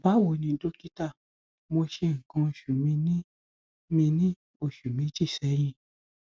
báwo ni dọkítà mo ṣe nǹkan oṣù mi ní mi ní oṣù méjì sẹyìn